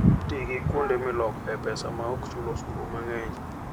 Ti gi kuonde milokoe pesa maok chul osuru mang'eny.